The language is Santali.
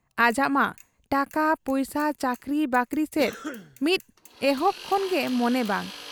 ᱟᱡᱟᱜ ᱢᱟ ᱴᱟᱠᱟ ᱯᱩᱭᱥᱟᱹ ᱪᱟᱹᱠᱨᱤ ᱵᱟᱹᱠᱨᱤ ᱥᱮᱫ ᱢᱤᱫ ᱮᱦᱚᱵ ᱠᱷᱚᱱ ᱜᱮ ᱢᱚᱱᱮ ᱵᱟᱝ ᱾